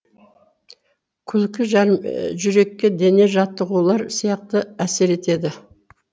күлкі жүрекке дене жаттығулары сияқты әсер етеді